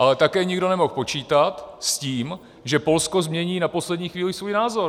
Ale také nikdo nemohl počítat s tím, že Polsko změní na poslední chvíli svůj názor.